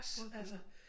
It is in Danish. Få at vide